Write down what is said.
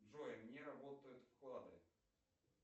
джой не работают вклады